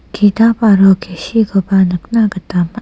ki·tap aro kesi koba nikna gita man·a.